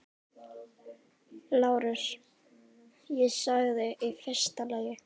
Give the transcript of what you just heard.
LÁRUS: Ég sagði: í fyrsta lagi.